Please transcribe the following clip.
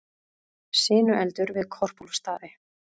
Sinueldur við Korpúlfsstaði